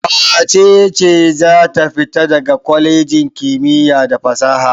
Wace ce za ta fita daga kwalejin kimiyya da fasaha?